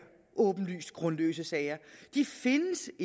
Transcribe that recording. åbenlyst grundløse sager de findes